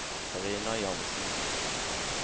Karina Jansen